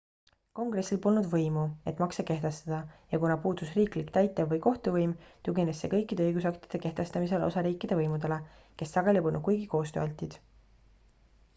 kongressil polnud võimu et makse kehtestada ja kuna puudus riiklik täitev või kohtuvõim tugines see kõikide õigusaktide kehtestamisel osariikide võimudele kes sageli polnud kuigi koostööaltid